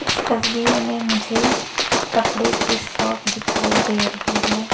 तस्वीर में मुझे कपड़े की शॉप दिखाई दे रही है।